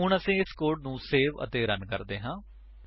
ਹੁਣ ਅਸੀ ਇਸ ਕੋਡ ਨੂੰ ਸੇਵ ਅਤੇ ਰਨ ਕਰਦੇ ਹਾਂ